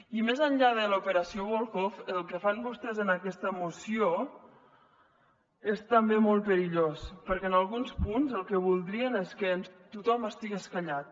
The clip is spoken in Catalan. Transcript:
i més enllà de l’operació volhov el que fan vostès en aquesta moció és també molt perillós perquè en alguns punts el que voldrien és que tothom estigués callat